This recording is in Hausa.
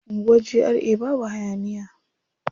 Anguwar GRA babu hayaniya.